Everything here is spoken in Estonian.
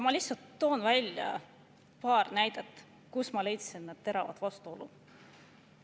Ma lihtsalt toon paar näidet, kus ma leidsin teravaid vastuolusid.